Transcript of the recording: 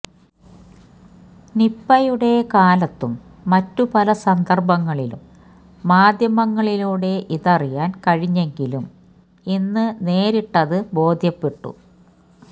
നിപ്പയുടെ കാലത്തും മറ്റു പല സന്ദർഭങ്ങളിലും മാധ്യമങ്ങളിലൂടെ ഇതറിയാൻ കഴിഞ്ഞെത്തങ്കിലും ഇന്ന് നേരിട്ടത് ബോധ്യപ്പെട്ടു